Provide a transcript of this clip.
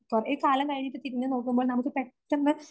കുറേക്കാലം കഴിഞ്ഞിട്ട് തിരിഞ്ഞു നോക്കുമ്പോ നമുക്ക് പെട്ടെന്ന്